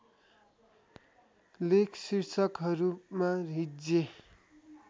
लेख शीर्षकहरूमा हिज्जे